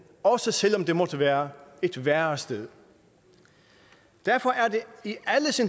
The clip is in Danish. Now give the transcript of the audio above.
også selv om det måtte være et værre sted derfor er